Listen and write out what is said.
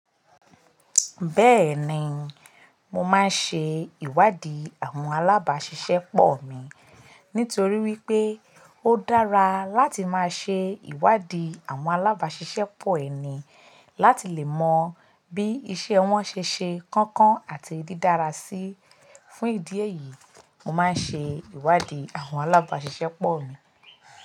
Bẹ́ẹ̀ni, mo máa ń ṣe ìwádìí àwọn alábàáṣiṣẹ́pọ̀ mi. Nítorí wípé ó dára láti máa ṣe ìwádìí àwọn alábàáṣiṣẹ́pọ̀ ẹni láti lè mọ bí iṣẹ́ wọn ṣe ṣe kánkán àti dídára sí. Fún ìdí èyí, mo máa ń ṣe ìwádìí àwọn alábàáṣiṣẹ́pọ̀ mi.